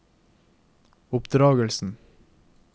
oppdragelsen